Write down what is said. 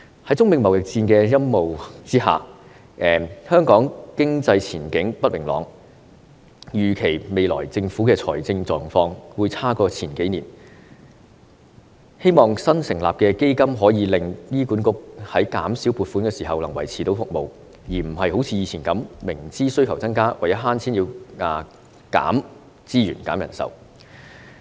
在中美貿易戰的陰霾之下，香港經濟前景不明朗，預期未來政府的財政狀況會較數年前差，希望新成立的基金可以令醫管局在減少撥款時能夠維持服務，而不是好像以前，明知需求增加，但為了省錢而要削減資源及人手。